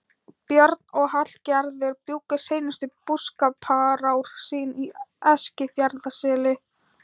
Björn og Hallgerður bjuggu seinustu búskaparár sín í Eskifjarðarseli.